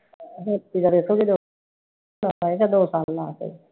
l